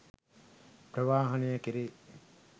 ප්‍රවාහනය කෙරේ